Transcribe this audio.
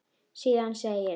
Síðan segir: